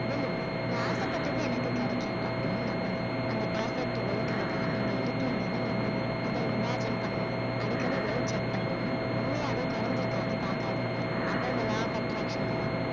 believe நான் ஆசைப்பட்டது எனக்கு கிடைக்கும் அப்படின்னு நம்பணும் அந்த perfect weight ல தான் நீங்க இருக்கீங்கன்னு நம்பணும் அதை imagine பண்ணனும் அடிக்கடி weight check பண்ணி உண்மையாவே குறைஞ்சிருக்கான்னு பார்க்காதீங்க அப்ப இந்த law of attraction அ